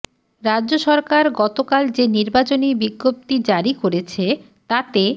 রাজ্য সরকার গতকাল যে নির্বাচনী বিজ্ঞপ্তি জারি করেছে তাতে